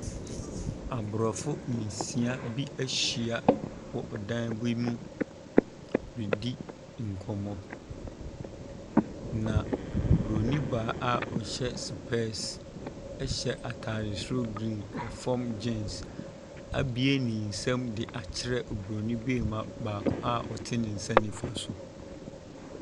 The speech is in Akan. Aborɔfo nsia bi ahyia wɔ dan bi mu redi nkɔmmɔ. Na Oburoni baa a ɔhyɛ sopɛɛse, hyɛ ataare soro green , ɛfam gens. Abue ne nsam de akyerɛ Oburoni bi baa baako a ɔte ne nsa nimfa so.